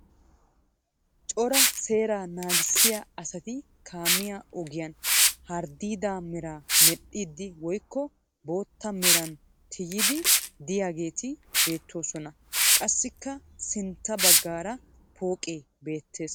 Cora seeraa naagissiya asati kaamiya ogiyan harddiidaa meraa medhdhiiddi woyikko bootta meran tuyiiddi diyageeti beettoosona. Qassikka sintta baggaara pooqee beettes.